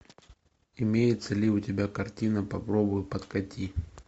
имеется ли у тебя картина попробуй подкати